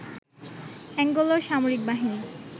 অ্যাঙ্গোলার সামরিক বাহিনী